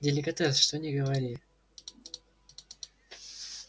деликатес что не говори